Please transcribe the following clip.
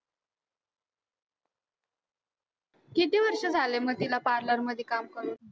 किती वर्ष झाले तिला parlor मध्ये काम करून?